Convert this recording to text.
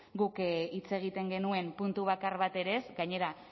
guk hitz egiten genuen puntu bakar bat ere ez gainera